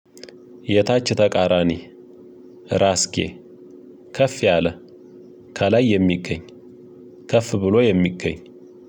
የታች ተቃራኒ። ራስጌ፣ ከፍ ያለ፣ ከላይ የሚገኝ፣። ከፍ ብሎ የሚገኝ፣